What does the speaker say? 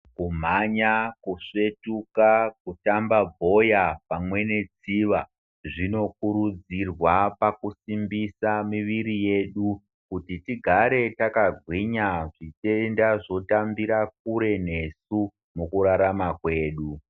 Kumhanya, kusvetuka, kutamba bhora pamwe netsiva zvinokurudzirwa pakusimbisa miviri yedu kuti tigare takagwinya zvitenda zvotambira kure nesu mukurarama kwedu.